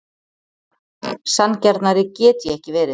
Sanngjarnari get ég ekki verið.